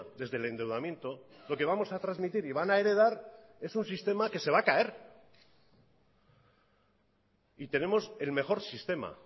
desde el endeudamiento lo que vamos a transmitir y van a heredar es un sistema que se va a caer y tenemos el mejor sistema